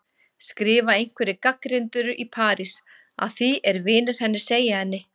skrifa einhverjir gagnrýnendur í París, að því er vinir hennar segja henni.